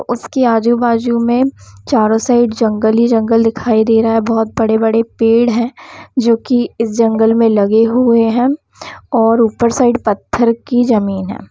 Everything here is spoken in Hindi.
उसके आजू-बाजू में चारो साइड जंगल ही जंगल दिखाई दे रहा है बहुत बड़े-बड़े पेड़ है जो की इस जंगल में लगे हुए है और ऊपर साइड पत्थर की जमीन है।